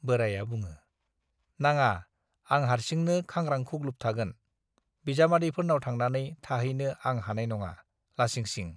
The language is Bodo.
बोराइया बुङो , नाङा आं हार्सिनो खांग्रां-खुग्लुब थागोन, बिजामादैफोरनाव थांनानै थाहैनो आं हानाय नङा, लासिं सिं।